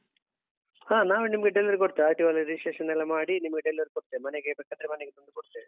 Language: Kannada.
ಹ ನಾವೇ ನಿಮ್ಗೆ delivery ಕೊಡ್ತೇವೆ RTO registration ನೆಲ್ಲ ಮಾಡಿ ನಿಮಗೆ delivery ಕೊಡ್ತೇವೆ ಮನೆಗೆ ಬೇಕಾದ್ರೆ ಮನೆಗೆ ತಂದು ಕೊಡ್ತೇವೆ.